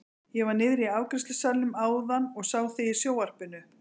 Ég var niðri í afgreiðslusalnum áðan og sá þig í sjónvarpinu!